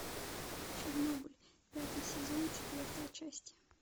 чернобыль пятый сезон четвертая часть